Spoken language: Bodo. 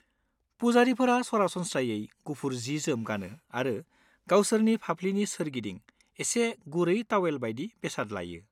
पुजारीफोरा सरासनस्रायै गुफुर जि-जोम गानो आरो गावसोरनि फाफ्लिनि सोरगिदिं एसे गुरै तावेल बायदि बेसाद लायो।